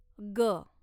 ग